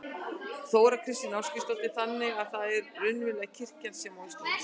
Þóra Kristín Ásgeirsdóttir: Þannig að það er raunverulega kirkjan sem á Ísland?